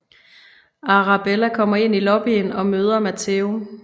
Arabella kommer ind i lobbyen og møder Matteo